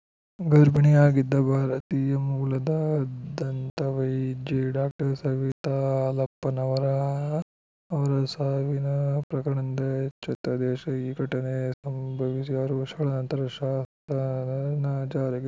ಗರ್ಭಿಣಿಯಾಗಿದ್ದ ಭಾರತೀಯ ಮೂಲದ ದಂತವೈದ್ಯೆ ಡಾಕ್ಟರ್ ಸವಿತಾ ಹಾಲಪ್ಪನವರ ಅವರ ಸಾವಿನ ಪ್ರಕರಣದಿಂದ ಎಚ್ಚೆತ್ತ ದೇಶ ಈ ಘಟನೆ ಸಂಭವಿಸಿ ಆರು ವರ್ಷಗಳ ನಂತರ ಶಾಸನ ಜಾರಿಗೆ